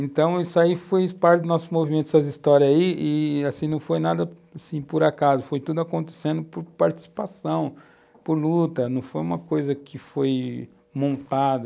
Então, isso aí foi parte do nosso movimento, essas histórias aí, e não foi nada por acaso, foi tudo acontecendo por participação, por luta, não foi uma coisa que foi montada.